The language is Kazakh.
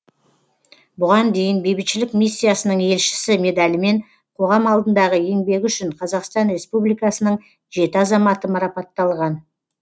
бұған дейін бейбітшілік миссиясының елшісі медалімен қоғам алдындағы еңбегі үшін қазақстан республикасының жеті азаматы марапатталған